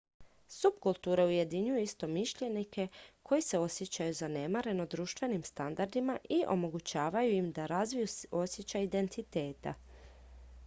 subkulture ujedinjuju istomišljenike koji se osjećaju zanemareno društvenim standardima i omogućavaju im da razviju osjećaj identiteta